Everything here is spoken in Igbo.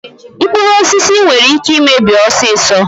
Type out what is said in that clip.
Mkpụrụ osisi nwere ike imebi ọsịsọ.